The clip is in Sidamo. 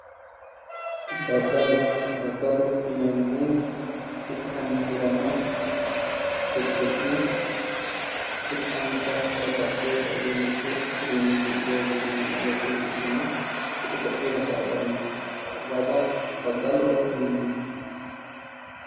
Daddalo daddalo yineemmohu hidhanna hirama tirfi'ne afa'nannita babbaxiteyota uduunnichu soorri'nayinna woxuyi hidhine ku'u ko'uyira saysanno raga daddaloho yineemmo